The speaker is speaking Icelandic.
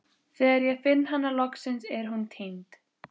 Þegar ég finn hana loksins er hún týnd.